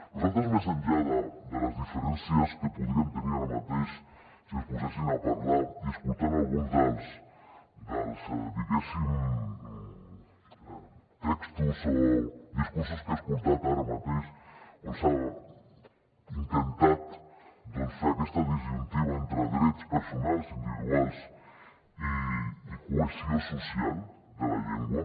nosaltres més enllà de les diferències que podríem tenir ara mateix si ens poséssim a parlar i escoltant alguns dels diguéssim textos o discursos que he escoltat ara mateix on s’ha intentat doncs fer aquesta disjuntiva entre drets personals individuals i cohesió social de la llengua